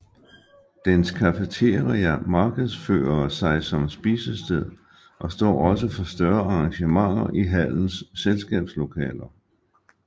Dens cafeteria markedsfører sig som spisested og står også for større arrangementer i hallens selskabslokaler